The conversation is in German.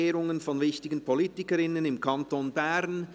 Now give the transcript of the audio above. «Ehrung von wichtigen Politikerinnen im Kanton Bern».